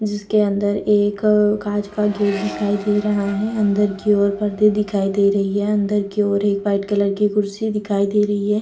जिसके अंदर एक कांच का गेट दिखाई दे रहा है अंदर की ओर पर्दे दिखाई दे रही है अंदर की ओर एक व्हाइट कलर की कुर्सी दिखाई दे रही है ।